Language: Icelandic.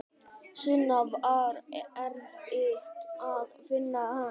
Sunna: Var erfitt að finna hann?